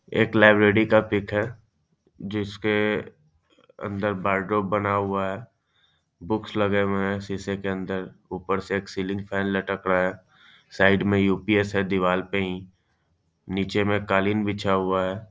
एक लाइब्रेरी का पीक है जिस के के अंदर बारडोर बना हुआ है बुक्स लगे हुए हैं शीशे के अंदर ऊपर से एक सीलिंग फैन लटक रहा है साइड में दीवाल पे हीनीचे में कालीन बिछा हुआ है।